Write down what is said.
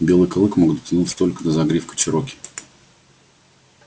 белый клык мог дотянуться только до загривка чероки